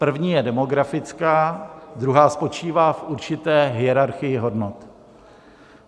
První je demografická, druhá spočívá v určité hierarchii hodnot.